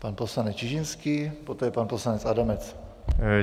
Pan poslanec Čižinský, poté pan poslanec Adamec.